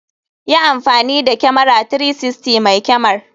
Yi amfani da kyamara 360 mai kyamar.